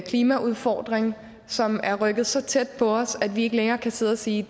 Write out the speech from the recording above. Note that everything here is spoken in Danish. klimaudfordring som er rykket så tæt på os at vi ikke længere kan sidde og sige